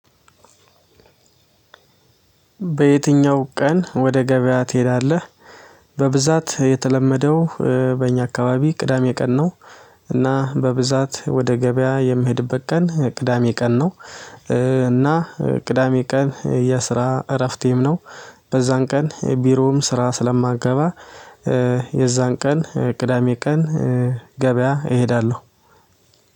በየትኛው ቀን ወደ ገበያ ትሄዳለህ? በብዛት የተለመደው በእኛ አካባቢ ቅዳሜ ቀን ነው። እና በብዛት ወደ ገበያ የምሄድበት ቀን ቅዳሜ ቀን ነው። እና ቅዳሜ ቀን የስራ እረፍቴም ነው። በዛን ቀን ቢሮውም ስራ ስለማገባ የዛን ቀን ቅዳሜ ቀን ገበያ እሄዳለሁ።